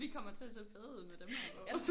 Vi kommer til at se fede ud med dem her på